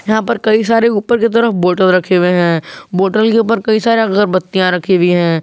यहां पर कई सारे ऊपर की तरफ बॉटल रखे हुए हैं बॉटल के ऊपर कई सारी अगरबत्तियां रखी हुई हैं।